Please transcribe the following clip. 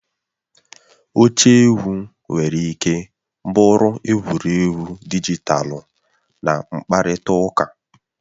Oche egwu nwere ike bụrụ egwuregwu dijitalụ na mkparịta ụka.